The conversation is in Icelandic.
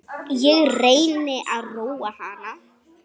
Ég reyni að róa hana.